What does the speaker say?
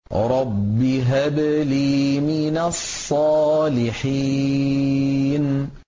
رَبِّ هَبْ لِي مِنَ الصَّالِحِينَ